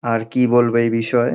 আর কি বলবে এই বিষয়ে।